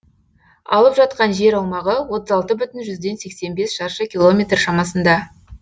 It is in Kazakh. алып жатқан жер аумағы отыз алты бүтін жүзден сексен бес шаршы километр шамасында